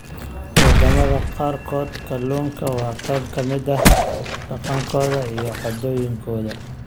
Wadamada qaarkood, kalluunka waa qayb ka mid ah dhaqankooda iyo caadooyinkooda.